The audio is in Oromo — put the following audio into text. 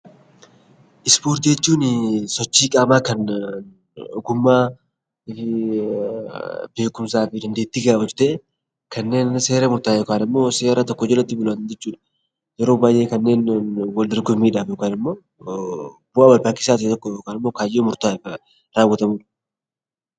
Ispoortii jechuun sochii qaamaa kan ogummaa , beekumsaa fi dandeettii gaafatu ta'ee kanneen seera jalatti bulan jechuudha. Yeroo baay'ee kanneen wal dorgommiidhaan yookaan immoo kaayyoo murtaa'eef raawwatamudha.